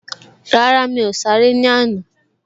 Rárá, mi ò sáré ní àná